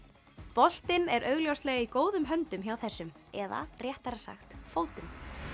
boltinn er í góðum höndum hjá þessum eða réttara sagt fótum